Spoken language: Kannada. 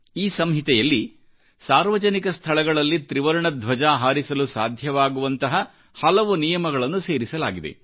ಈ ಸಂಹಿತೆಯಲ್ಲಿ ಸಾರ್ವಜನಿಕ ಸ್ಥಳಗಳಲ್ಲಿ ತ್ರಿವರ್ಣ ಧ್ವಜ ಹಾರಿಸಲು ಸಾಧ್ಯವಾಗುವಂತಹ ಹಲವು ನಿಯಮಗಳನ್ನುಸೇರಿಸಲಾಗಿದೆ